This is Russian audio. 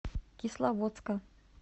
кисловодска